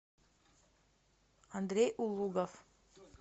андрей улугов